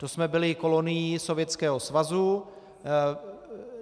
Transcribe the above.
To jsme byli kolonií Sovětského svazu.